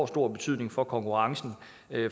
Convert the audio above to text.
stor betydning for konkurrencen